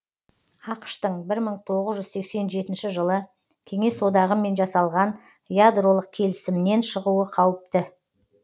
ақш тың бір мың тоғыз жүз сексен жетінші жылы кеңес одағымен жасалған ядролық келісімнен шығуы қауіпті